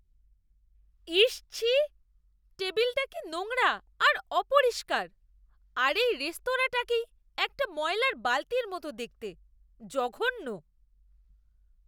ইস, ছিঃ! টেবিলটা কি নোংরা আর অপরিষ্কার, আর এই রেস্তোরাঁটাকেই একটা ময়লার বালতির মতো দেখতে। জঘন্য!